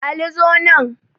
Ali zo nan